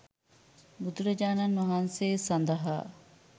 බුදුරජාණන් වහන්සේ සඳහා